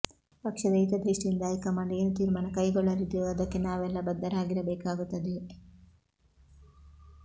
ಪಕ್ಷದ ಹಿತದೃಷ್ಟಿಯಿಂದ ಹೈಕಮಾಂಡ್ ಏನು ತೀರ್ಮಾನ ಕೈಗೊಳ್ಳಲಿದೆಯೋ ಅದಕ್ಕೆ ನಾವೆಲ್ಲ ಬದ್ಧರಾಗಿರಬೇಕಾಗುತ್ತದೆ